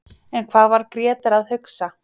En hvað var Grétar að hugsa?